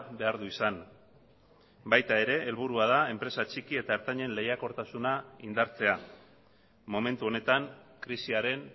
behar du izan baita ere helburua da enpresa txiki eta ertainen lehiakortasuna indartzea momentu honetan krisiaren